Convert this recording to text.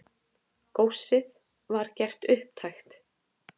Góssið var gert upptækt.